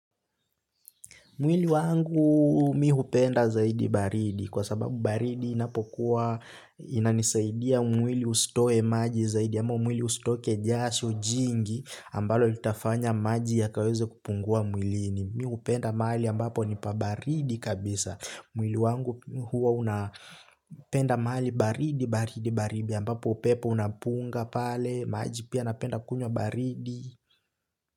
Mwili wangu mimi hupenda zaidi baridi, kwa sababu baridi inapokuwa, inanisaidia mwili usitoe maji zaidi ama mwili usitoke jasho jingi ambalo litafanya maji ya kaweze kupungua mwili, ni mimi hupenda mahali ambapo nipabaridi kabisa. Mwili wangu huwa unapenda mahali baridi, baridi, baridi, ambapo pepo unapunga pale maji pia napenda kunyo baridi.